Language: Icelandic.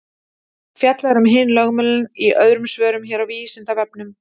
Fjallað er um hin lögmálin í öðrum svörum hér á Vísindavefnum.